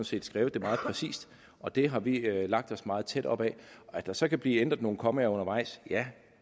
set skrevet det meget præcist og det har vi lagt os meget tæt op ad at der så kan blive ændret nogle kommaer undervejs ja